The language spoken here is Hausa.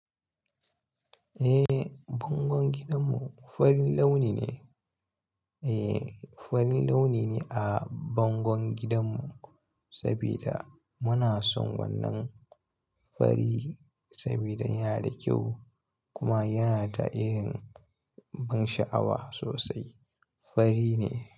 Eh, bangon gidanmu farin launi ne. Eh, farin launi ne a bangon gidanmu saboda muna son wannan fari saboda yana da kyau kuma yana da irin ban sha'awa sosai. Fari ne.